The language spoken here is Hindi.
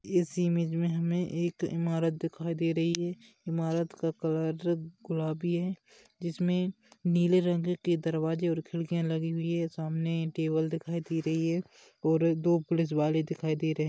इस इमेज मे हमे एक इमारत दिखाई दे रही है इमारत का कलर गुलाबी है जिसमे नीले रंग की दरवाजे और खिड्किया लगी हुई है सामने टेबल दिखाई दे रही है और दो पुलिस वाले दिखाई दे रहे--